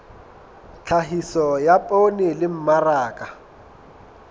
tlhahiso ya poone le mmaraka